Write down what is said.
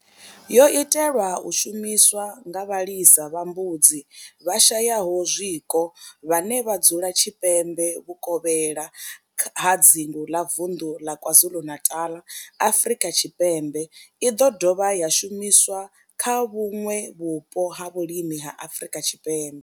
Yo itelwa u shumiswa nga vhalisa vha mbudzi vhashayaho zwiko vhane vha dzula tshipembe vhukovhela ha dzingu ḽa vunḓu la KwaZulu-Natal, Afrika Tshipembe i ḓo dovha ya shumiswa kha vhuṋwe vhupo ha vhulimi ha Afrika Tshipembe.